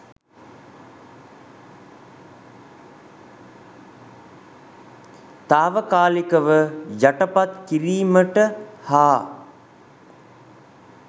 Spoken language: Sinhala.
තාවකාලිකව යටපත් කිරීමට හා